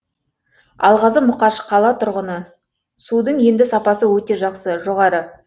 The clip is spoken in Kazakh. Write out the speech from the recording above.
алғазы мұқаш қала тұрғыны судың енді сапасы өте жақсы жоғары